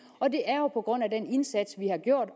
og det er jo på grund af den indsats vi